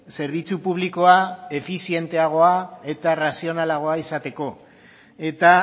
zerbitzu publikoa efizienteagoa eta arrazionalagoa izateko eta